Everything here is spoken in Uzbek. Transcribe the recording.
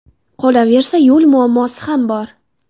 Qolaversa, yo‘l muammosi ham bor.